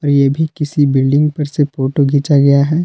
ये भी किसी बिल्डिंग पर से फोटो घीचा गया है।